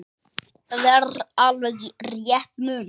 Það er alveg rétt munað.